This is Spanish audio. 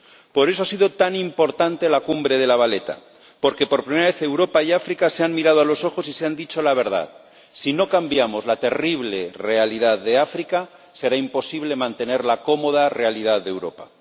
Por eso ha sido tan importante la cumbre de La Valeta, porque, por primera vez, Europa y África se han mirado a los ojos y se han dicho la verdad si no cambiamos la terrible realidad de África, será imposible mantener la cómoda realidad de Europa.